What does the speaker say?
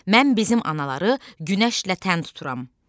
Mən bizim anaları günəşlə tən tuturam.